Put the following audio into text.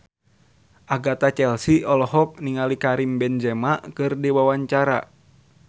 Agatha Chelsea olohok ningali Karim Benzema keur diwawancara